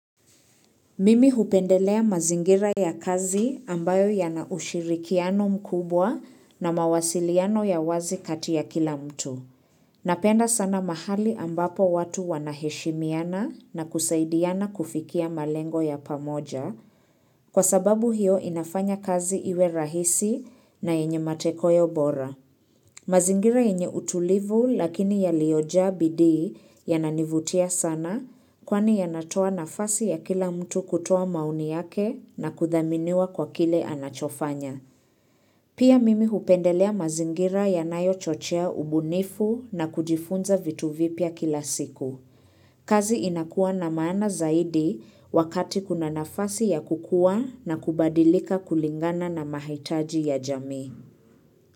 Mimi hupendelea mazingira ya kazi ambayo yana ushirikiano mkubwa na mawasiliano ya wazi kati ya kila mtu. Napenda sana mahali ambapo watu wanaheshimiana na kusaidiana kufikia malengo ya pamoja kwa sababu hiyo inafanya kazi iwe rahisi na yenye matekoyo bora. Mazingira yenye utulivu lakini yaliyojaa bidii yananivutia sana kwani yanatoa nafasi ya kila mtu kutoa maoni yake na kudhaminiwa kwa kile anachofanya. Pia mimi hupendelea mazingira yanayochochea ubunifu na kujifunza vitu vipya kila siku. Kazi inakuwa na maana zaidi wakati kuna nafasi ya kukua na kubadilika kulingana na mahitaji ya jamii.